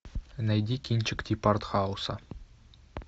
найди кинчик типа артхауса